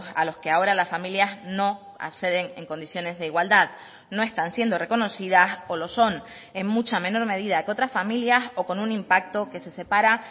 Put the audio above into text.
a los que ahora las familias no acceden en condiciones de igualdad no están siendo reconocidas o lo son en mucha menor medida que otras familias o con un impacto que se separa